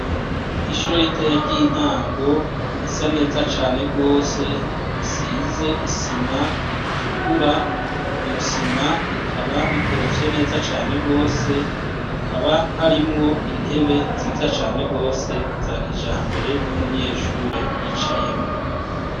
Ishuri ritoyi ry'intango risa neza cane gose risize isima itukura iryo sima rikaba rikorofye neza cane gose hakaba harimwo intebe nziza cene gose za kijambere n'umunyeshuri yicayemwo.